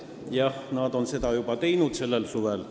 Jah, nad tegid seda juba sellel suvel.